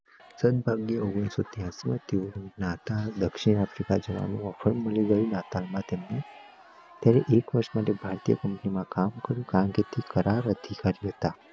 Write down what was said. ઓગણીસો ત્રયંસી માં દક્ષીણ આફ્રિકા જવાનું ઓફર માંડ્યું નાતાલ માં તેમને ત્યારે એક વરસ માટે ભારતીય કંપની માં કામ કર્યું કેમ કે અધિકારી હતા